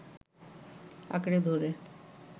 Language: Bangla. আঁকড়ে ধরে